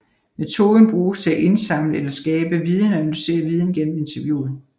Metoden bruges til at indsamle eller skabe viden og analysere viden gennem interviewet